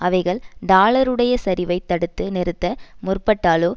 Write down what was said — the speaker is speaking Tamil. அவைகள் டாலருடைய சரிவைத் தடுத்து நிறுத்த முற்பட்டாலோ